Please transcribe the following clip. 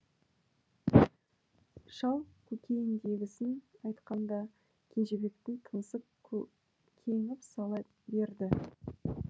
шал көкейіндегісін айтқанда кенжебектің тынысы кеңіп сала берді